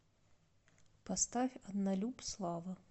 поставь однолюб слава